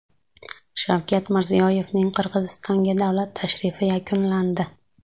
Shavkat Mirziyoyevning Qirg‘izistonga davlat tashrifi yakunlandi.